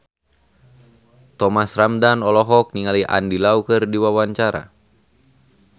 Thomas Ramdhan olohok ningali Andy Lau keur diwawancara